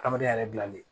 Adamadenya yɛrɛ bilalen